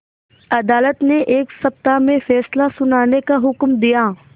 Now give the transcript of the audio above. अदालत ने एक सप्ताह में फैसला सुनाने का हुक्म दिया